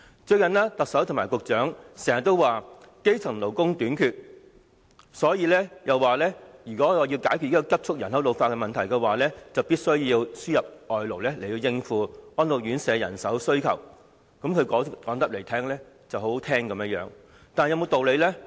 最近，特首和局長經常表示，基層勞工短缺，因此，如果要解決人口急促老化的問題，必須輸入外勞，以應付安老院舍的人手需求；說得十分動聽，但有沒有道理呢？